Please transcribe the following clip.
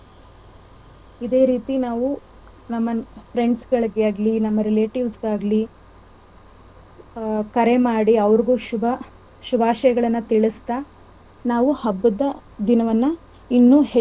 ಇದೆ ರೀತಿ ನಾವು ನಮ್ friends ಗಳಿಗೆ ಆಗ್ಲಿ ನಮ್ಮ relatives ಗೆ ಆಗ್ಲಿಹ ಕರೆ ಮಾಡಿ ಅವರಗೂ ಶುಭ~ ಶುಭಾಷಯಗಳನ್ನ ತಿಳಿಸತಾ ನಾವು ಹಬ್ಬದ ದಿನವನ್ನ ಇನ್ನೂ ಹೆಚ್ಚು ಸಂಭ್ರಮದಿಂದ.